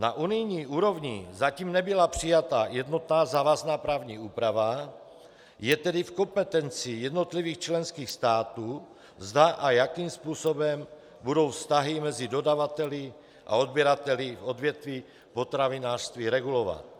Na unijní úrovni zatím nebyla přijata jednotná závazná právní úprava, je tedy v kompetenci jednotlivých členských států, zda a jakým způsobem budou vztahy mezi dodavateli a odběrateli v odvětví potravinářství regulovat.